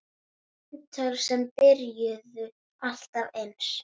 Símtöl sem byrjuðu alltaf eins.